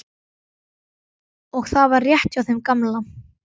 Og það var rétt hjá þeim gamla.